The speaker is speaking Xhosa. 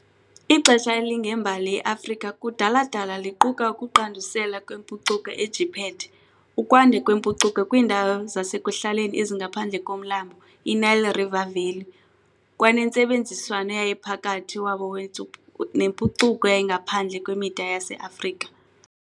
Ixesha elingembali ye-Afrika kudala-dala liquka ukuqandusela kwempucuko eJiphethe, ukwanda kwempucuko kwiindawo zasekuhlaleni ezingaphandle komlambo i-Nile River Valley kwanentsebenziswano eyayiphakathi wabo nempucuko eyayingaphandle kwemida yase-Afrika.